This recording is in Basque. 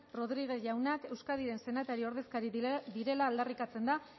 rodríguez jauna euskadiren senatari ordezkari direla aldarrikatzen da